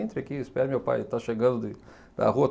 Entra aqui, espere, meu pai está chegando de da rua.